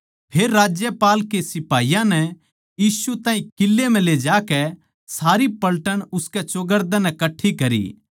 फेर राज्यपाल के सिपाहियाँ नै यीशु ताहीं किले म्ह ले जाकै सारी पलटन उसकै चौगरदे नै कट्ठी करी